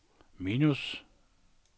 minus